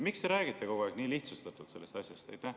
Miks te räägite kogu aeg nii lihtsustatult sellest asjast?